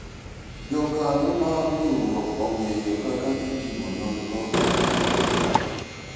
jokanyo mar riwruok ong'eyo kaka itimo nonro e chiro